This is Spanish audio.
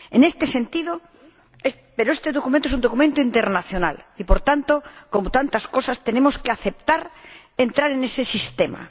Este documento es un documento internacional y, por tanto, como tantas veces, tenemos que aceptar entrar en ese sistema.